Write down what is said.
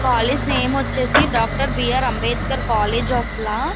College name వచ్చేసి doctor B R. Ambedkar college of law .